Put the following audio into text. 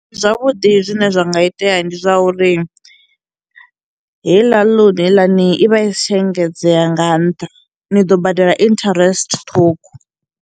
Zwavhuḓi zwine zwa nga itea ndi zwa uri heiḽa loan heiḽani i vha i si tsha engedzea nga ntha ni ḓo badela interest ṱhukhu.